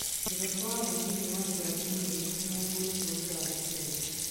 Dereba wa munyinyi wa jaji mũnene niahũritwo rithathi Kenya.